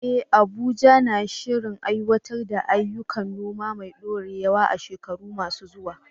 Eh, Abuja na shirin aiwatar da ayyukan noma mai ɗorewa a shekaru masu zuwa.